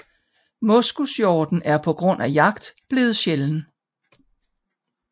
Moskushjorten er på grund af jagt blevet sjælden